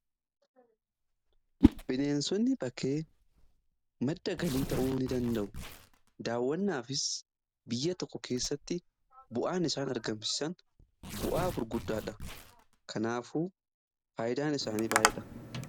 Bineensonni bakkee madda galii ta'uu ni danda'u. Daawwannaafis biyya tokko keessatti bu'aan isaan argamsisan bu'aa gurguddaadha. kanaafuu faayidaan isaanii baay'ee dha.